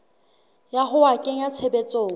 ya ho a kenya tshebetsong